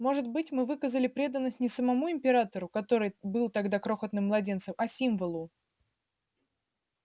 может быть мы выказали преданность не самому императору который был тогда крохотным младенцем а символу